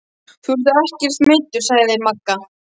Þú ert ekkert meiddur sagði Magga.